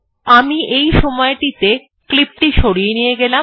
আমি এই সময়টিতে ক্লিপ সরিয়ে নিয়ে গেলাম